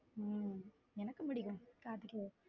உம் எனக்கும் பிடிக்கும் கார்த்திகேயன்.